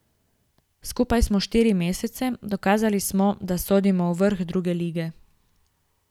Skupaj smo štiri mesece, dokazali smo, da sodimo v vrh druge lige.